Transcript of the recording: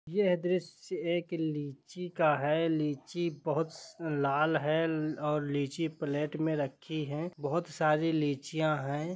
यह द्रश्य एक लीची का है लीची बहुत स लाल है और लीची प्लेट में रखी है बहुत सारी लीचियाँ है।